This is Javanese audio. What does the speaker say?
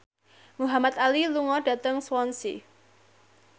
Muhamad Ali lunga dhateng Swansea